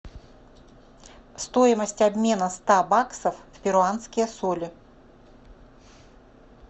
стоимость обмена ста баксов в перуанские соли